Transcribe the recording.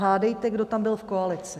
Hádejte, kdo tam byl v koalici?